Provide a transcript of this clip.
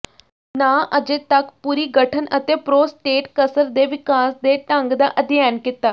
ਨਾ ਅਜੇ ਤੱਕ ਪੂਰੀ ਗਠਨ ਅਤੇ ਪ੍ਰੋਸਟੇਟ ਕਸਰ ਦੇ ਵਿਕਾਸ ਦੇ ਢੰਗ ਦਾ ਅਧਿਐਨ ਕੀਤਾ